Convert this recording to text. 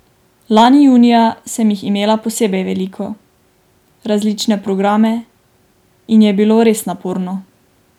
Lani junija sem jih imela posebej veliko, različne programe, in je bilo res naporno.